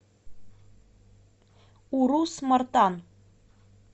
урус мартан